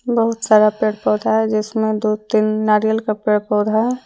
बहुत सारा पेड़ पौधा हैजिसमें दो तीन नारियल का पेड़ पौधा है।